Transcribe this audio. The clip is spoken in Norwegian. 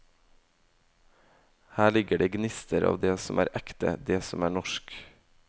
Her ligger det gnister av det som er ekte, det som er norsk.